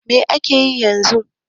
Mai ake yi yanzu?